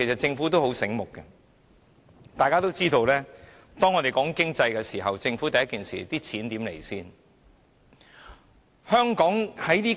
政府很聰明，大家都知道，每次我們討論經濟問題，政府馬上會問"錢從何來？